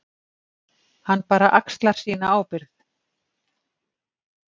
Hann bara axlar sína ábyrgð.